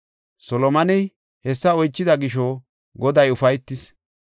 Solomoney hessa oychida gisho, Goday ufaytis.